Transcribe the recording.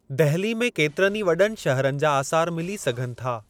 दहिली में केतिरनि ई वॾनि शहरनि जा आसारु मिली सघनि था।